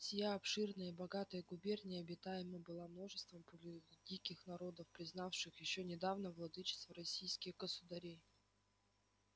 сия обширная и богатая губерния обитаема была множеством полудиких народов признавших ещё недавно владычество российских государей